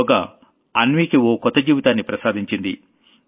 యోగా అన్వీకి ఓ కొత్త జీవితాన్ని ప్రసాదించింది